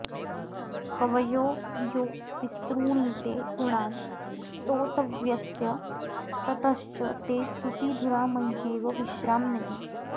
कवयो यो विस्तृणीते गुणान् स्तोतव्यस्य ततश्च ते स्तुतिधुरा मय्येव विश्राम्यति